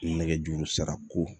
Nɛgɛjuru sira ko